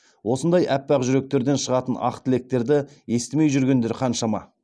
осындай аппақ жүректерден шығатын ақ тілектерді естімей жүргендер қаншама